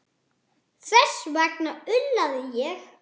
Þess vegna ullaði ég.